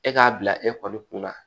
E k'a bila e kɔni kun na